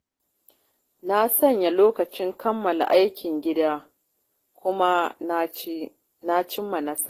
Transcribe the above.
Na sanya lokacin kammala aikin gida kuma na cimma nasara.